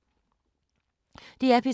DR P3